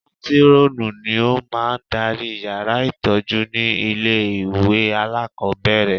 Mátírọ́ọ̀nù ni ó máa ń darí yàrá ìtọ́jú ní ilé ìwé alákọ̀ọ́bẹ̀rẹ̀